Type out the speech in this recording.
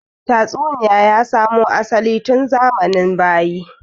Tatsuniya ya samu asali tun zamanin bayi